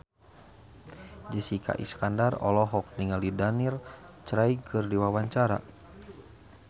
Jessica Iskandar olohok ningali Daniel Craig keur diwawancara